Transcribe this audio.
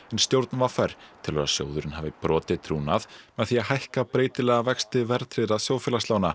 en stjórn v r telur að sjóðurinn hafi brotið trúnað með því að hækka breytilega vexti verðtryggðra